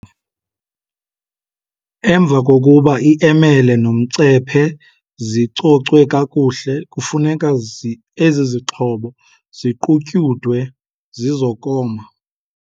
Emva kokuba iemele nomcephe zicocwe kakuhle, kufuneka ezizixhobo ziqutyudwe zizokoma.